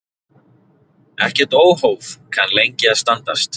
Ekkert óhóf kann lengi að standast.